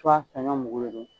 ka na mɔgɔw wele.